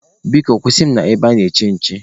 Biko kwụsị mụ na ebe ana-eche nche.